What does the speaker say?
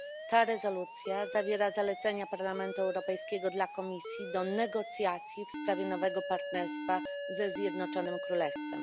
Ta rezolucja zawiera zalecenia Parlamentu Europejskiego dla Komisji do negocjacji w sprawie nowego partnerstwa ze Zjednoczonym Królestwem.